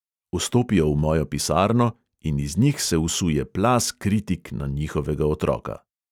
Vstopijo v mojo pisarno in iz njih se usuje plaz kritik na njihovega otroka.